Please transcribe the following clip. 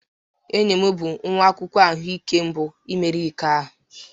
Enyi m bụ nwa akwụkwọ ahụike mbụ meriri iko a